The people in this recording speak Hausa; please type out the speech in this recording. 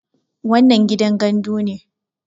wannan gidan gandu ne